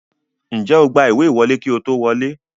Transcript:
Ǹjẹ́ o gba ìwé ìwọlé kí ó tó wọlé?